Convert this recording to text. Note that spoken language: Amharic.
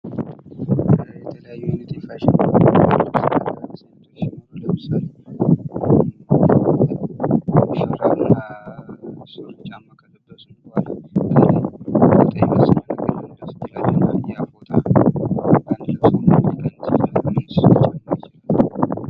የተለያዩ አይነት የፋሽን አልባሳት ሲኖሩ አሁን ለምሳሌ ቸርነት ሱሬ ጫማ ከለበሱ በኋላ